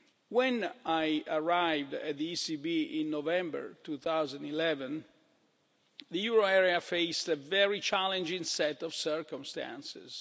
When I arrived at the ECB in November 2011, the euro area faced a very challenging set of circumstances.